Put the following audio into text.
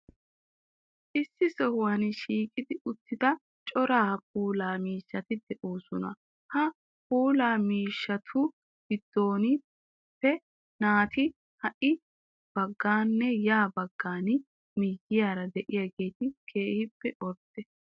Issi sohuwan shiiqi uttida cora puulaa miishshaati de'oosona. Ha puulaa miishshaatu giddonppe naa"ati ha bagganne ya bagga miyiyaara de'iyageeti keehippe ordde.